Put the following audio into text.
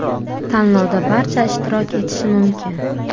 Tanlovda barcha ishtirok etishi mumkin.